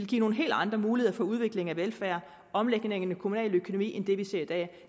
give nogle helt andre muligheder for udvikling af velfærd og omlægninger i den kommunale økonomi end det vi ser i dag